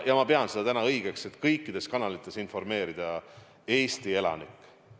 Ja ma pean õigeks praegu kõikides kanalites informeerida Eesti elanikke.